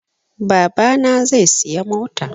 Babana zai siya mota